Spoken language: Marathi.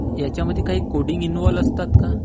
ह्यांच्यामध्ये काही कोडिंग इन्व्हॉल्व्ह असतात का?